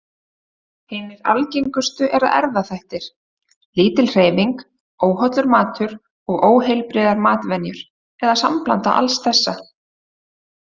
Hinar algengustu eru erfðaþættir, lítil hreyfing, óhollur matur og óheilbrigðar matarvenjur, eða sambland alls þessa.